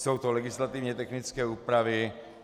Jsou to legislativně technické úpravy.